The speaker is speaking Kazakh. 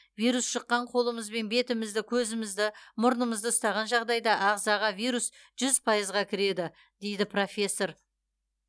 вирус жұққан қолымызбен бетімізді көзімізді мұрнымызды ұстаған жағдайда ағзаға вирус жүз пайызға кіреді дейді профессор